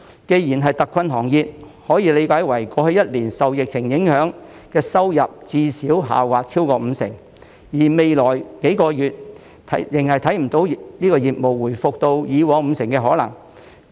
既然是特困行業，可以理解為過去1年受疫情影響，收入最少下滑超過五成，而未來數個月仍然看不到業務回復到以往五成的可能。